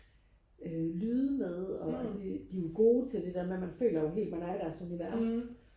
øh lyde med og altså de de er jo gode til det der med man føler jo helt man er i deres univers